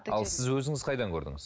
ал сіз өзіңіз қайдан көрдіңіз